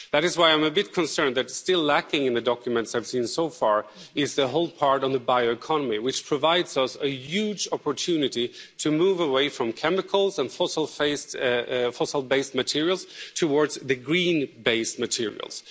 That is why I'm a bit concerned that still lacking in the documents I've seen so far is the whole part on the bioeconomy, which provides us with a huge opportunity to move away from chemicals and fossil based materials towards the green based materials.